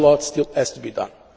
A lot still has to be done.